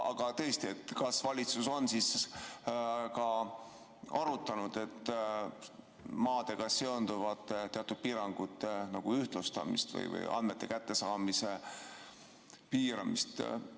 Aga tõesti, kas valitsus on arutanud maadega seonduvate teatud piirangute ühtlustamist või andmete kättesaamise piiramist?